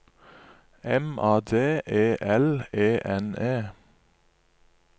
M A D E L E N E